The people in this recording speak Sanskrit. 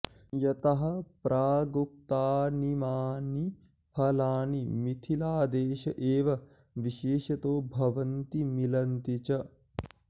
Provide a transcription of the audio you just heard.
यतः प्रागुक्तानीमानि फलानि मिथिलादेश एव विशेषतो भवन्ति मिलन्ति च